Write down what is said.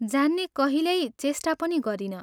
जान्ने कहिल्यै चेष्टा पनि गरिनँ।